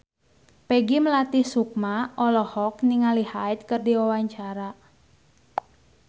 Peggy Melati Sukma olohok ningali Hyde keur diwawancara